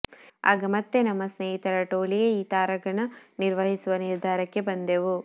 ಆಗ ಮತ್ತೆ ನಮ್ಮ ಸ್ನೇಹಿತರ ಟೋಳಿಯೇ ಈ ತಾರಾಗಣ ನಿರ್ವಹಿಸುವ ನಿರ್ಧಾರಕ್ಕೆ ಬಂದೆವು